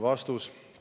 " Vastus.